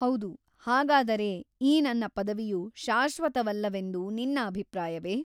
ಹೌದು ಹಾಗಾದರೆ ಈ ನನ್ನ ಪದವಿಯು ಶಾಶ್ವತವಲ್ಲವೆಂದು ನಿನ್ನ ಅಭಿಪ್ರಾಯವೇ?